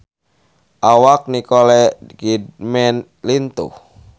Awak Nicole Kidman lintuh